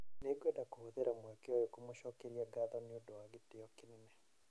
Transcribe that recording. Nĩ ngwenda kũhũthĩra mweke ũyũ kũmũcokeria ngatho nĩ ũndũ wa gĩtĩo kĩnene ".